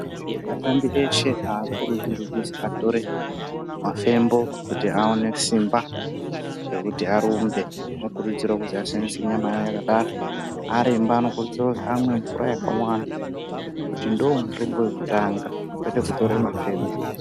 Vashandi veshe avakurudzirwi kuti vatore mafembo kuti aone Simba rekuti arumbe anokurudzirwa kuti ashandise nyama yawo yakadaro aremba anokurudzirwa amwe mvura yakawanda ngekuti ndomutamba wakanaka kwete kutora mafembo.